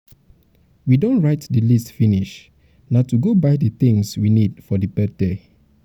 we um don write the list um finish na to go buy the things we need for the birthday